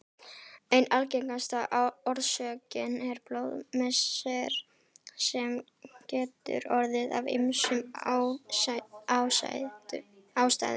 Ein algengasta orsökin er blóðmissir sem getur orðið af ýmsum ástæðum.